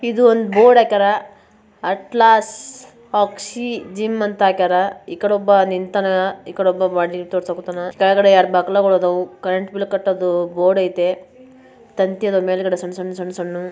ಒಂದು ಬೋಡೈತೆ ಹಾಕರ ಅಟ್ಲಾಸ್ ಆಕ್ಸಿ ಜಿಮ್ ಹಾಕೋರ ಈ ಕಡೆ ಒಬ್ಬ ನಿಂತವನ ಒಬ್ಬ ಬಾಡಿ ತೋರಿಸು ಕಥನ ಕೆಳಗಡೆ ಕರೆಂಟ್ ಬಿಲ್ ಕಟ್ಟದು ಬೋರ್ಡ್ ಐತೆ ತಂತಿಯತೆ ಮೇಲ್ಗಡೆ ಸಣ್ಣ ಸಣ್ಣ --